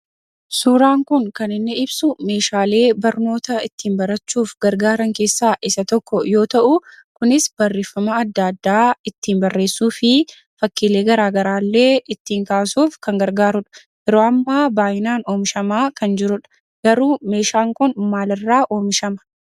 Suuraan kun kan inni ibsu meeshaalee barnoota ittiin barachuuf gargaaran keessaa isa tokko yoo ta'u kunis barreeffama adda addaa ittiin barreessuu fi fakkiilee garaa garaallee ittiin kaasuuf kan gargaarudha. Yeroo ammaa baay'inaan oomishamaa kan jirudha. Garuu meeshaan kun maalirraa oomishama?